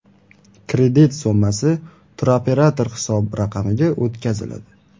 Kredit summasi turoperator hisob raqamiga o‘tkaziladi.